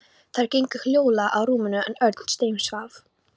Þær gengu hljóðlega að rúminu en Örn steinsvaf.